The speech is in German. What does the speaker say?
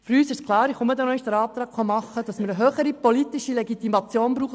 Für uns ist klar, dass wir eine höhere politische Legitimation dieses Gesetzes brauchen.